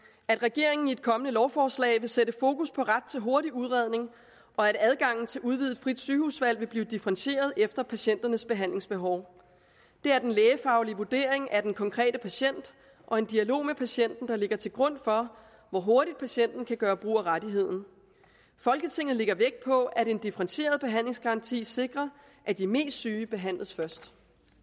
at regeringen i et kommende lovforslag vil sætte fokus på ret til hurtig udredning og at adgangen til udvidet frit sygehusvalg vil blive differentieret efter patienternes behandlingsbehov det er den lægefaglige vurdering af den konkrete patient og en dialog med patienten der ligger til grund for hvor hurtigt patienten kan gøre brug af rettigheden folketinget lægger vægt på at en differentieret behandlingsgaranti sikrer at de mest syge behandles først